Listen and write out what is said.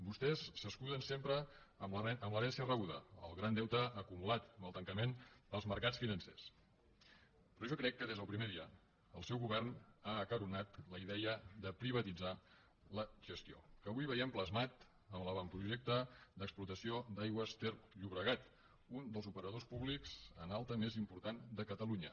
vostès s’escuden sempre en l’herència rebuda en el gran deute acumulat amb el tancament dels mercats financers però jo crec que des del primer dia el seu govern ha acaronat la idea de privatitzar la gestió que avui veiem plasmada amb l’avantprojecte d’explotació d’aigües ter llobregat un dels operadors públics en alta més importants de catalunya